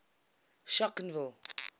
schonkenville